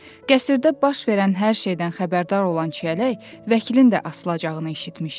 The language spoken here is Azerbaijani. qəsrdə baş verən hər şeydən xəbərdar olan Çiyələk vəkilin də asılacağını eşitmişdi.